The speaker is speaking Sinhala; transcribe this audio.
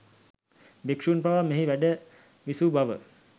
භික්ෂූන් පවා මෙහි වැඩ විසූ බව